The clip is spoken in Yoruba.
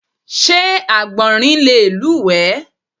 Sé Àgbọ̀nrín le lúùwé?